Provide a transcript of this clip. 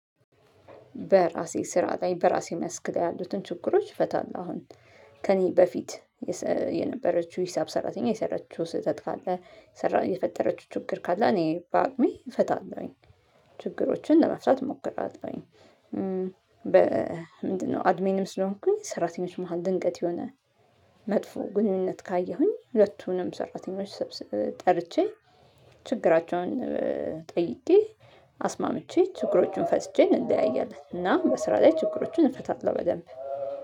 በራሴ ስራ ላይ በራሴ መስክ ላይ ያሉትን ችግሮች እፈታለሁ። አሁን ከእኔ በፊት የነበረችው ሂሳብ ሰራተኛ የሰራችው ስህተት ካለ የፈጠረችው ችግር ካለ እኔ በአቅሜ እፈታለሁኝ። ችግሮችን ለመፍታት እሞክራለሁኝ። በ ምንድነው አድሜንም ስለሆንኩኝ ሰራተኞች መሃል ድንቀት የሆነ መጥፎ ግንኙነት ካየሁኝ ሁለቱንም ሰራተኞች ሰብስቤ ጠርቼ ችግራቸውን ጠይቄ አስማምቼ ችግሮቹን ፈትቸ እንለያያለን። እና በስራ ላይ ችግሮችን እንፈታለን። በደንብ